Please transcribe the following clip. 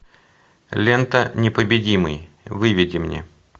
лента непобедимый выведи мне